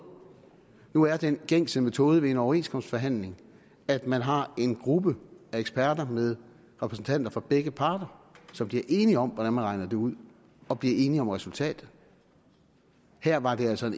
nu er den gængse metode ved en overenskomstforhandling at man har en gruppe af eksperter med repræsentanter for begge parter som bliver enige om hvordan man regner det ud og bliver enige om resultatet her var det altså